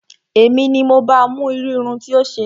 Èmi ni mo ba mú irú irun tí ó ṣe